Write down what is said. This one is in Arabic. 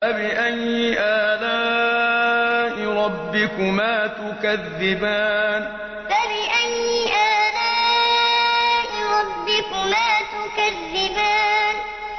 فَبِأَيِّ آلَاءِ رَبِّكُمَا تُكَذِّبَانِ فَبِأَيِّ آلَاءِ رَبِّكُمَا تُكَذِّبَانِ